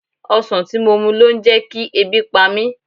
Ọsan tí mo mu ló ń jẹkí ebi pa mí.